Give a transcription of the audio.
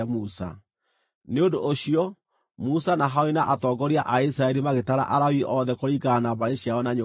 Nĩ ũndũ ũcio, Musa na Harũni na atongoria a Isiraeli magĩtara Alawii othe kũringana na mbarĩ ciao na nyũmba ciao.